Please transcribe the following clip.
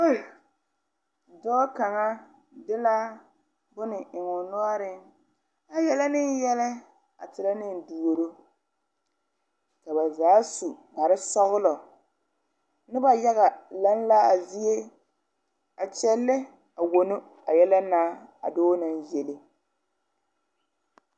Dɔɔ kaŋa de la bone a eŋoo noɔriŋ kyɛ yele niŋ yɛlɛ a terɛ ne duuro ka ba zaa su kparesɔglɔ noba yaga laŋ la a zie a kyɛllɛ a wono a yɛlɛ na a dɔɔ naŋ yele.